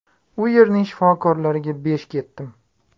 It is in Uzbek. U yerning shifokorlariga besh ketdim.